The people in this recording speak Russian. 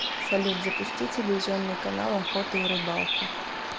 салют запусти телевизионный канал охота и рыбалка